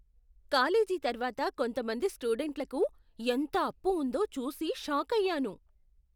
College తర్వాత కొంతమంది స్టూడెంట్లకు ఎంత అప్పు ఉందో చూసి షాకయ్యాను.